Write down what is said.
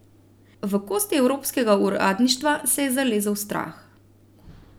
V kosti evropskega uradništva se je zalezel strah.